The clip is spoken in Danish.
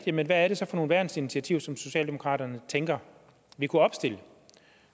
jeg hvad er det så for nogle værnsinitiativer som socialdemokraterne tænker vi kunne opstille